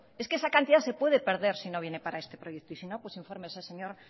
es que esa cantidad se puede perder si no viene para este proyecto y sino pues infórmese señor